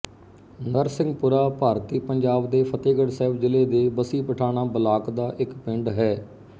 ਨਰਸਿੰਘਪੁਰਾ ਭਾਰਤੀ ਪੰਜਾਬ ਦੇ ਫ਼ਤਹਿਗੜ੍ਹ ਸਾਹਿਬ ਜ਼ਿਲ੍ਹੇ ਦੇ ਬੱਸੀ ਪਠਾਣਾਂ ਬਲਾਕ ਦਾ ਇੱਕ ਪਿੰਡ ਹੈ